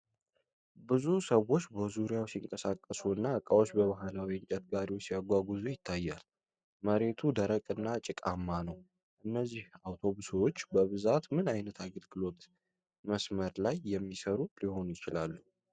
ብዙ ሰዎች በዙሪያው ሲንቀሳቀሱ እና ዕቃዎችን በባህላዊ የእንጨት ጋሪዎች ሲያጓጉዙ ይታያል። መሬቱ ደረቅና ጭቃማ ነው። እነዚህ አውቶቡሶች በብዛት ምን ዓይነት የአገልግሎት መስመር ላይ የሚሠሩ ሊሆኑ ይችላሉ?